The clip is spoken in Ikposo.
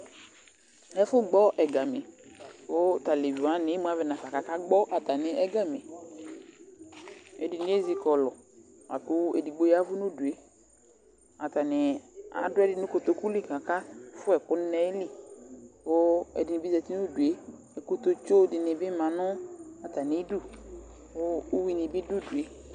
Ɛfʊ gɓɔ ɛgamɩ ƙʊ taleʋɩ waŋɩ emʊ aʋɛ ŋafa ƙa ƙagbɔ ɛgamɩ Ɛdɩŋɩ ezɩ ƙɔlʊ aƙʊ edigbo yaʋʊ nʊdue Ataŋɩ aduɛdɩ ŋʊ ƙotoƙʊ lɩ ƙa ƙɛfʊɛkʊ ŋɩ nayili ku ɛdibɩ zatɩ nudʊe, kutotsʊ dini bi ma nʊ ata mɩdʊ ku ʊwuɩ ŋɩɓɩ dʊ ʊdʊe